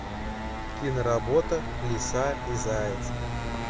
киноработа лиса и заяц